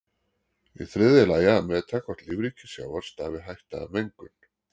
Í þriðja lagi að meta hvort lífríki sjávar stafi hætta af mengun.